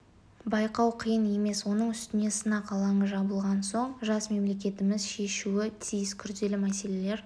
байқау қиын емес оның үстіне сынақ алаңы жабылған соң жас мемлекетіміз шешуі тиіс күрделі мәселелер